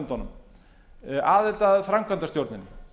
öllum ráðherrafundunum aðild að framkvæmdastjórninni